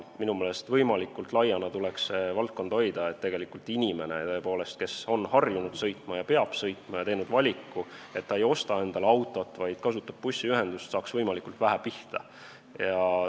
Minu meelest tuleks see valdkond hoida võimalikult lai, et inimene, kes on harjunud sõitma ja peab sõitma ning on teinud valiku, et ta ei osta endale autot, vaid kasutab bussiühendust, saaks võimalikult vähe pihta.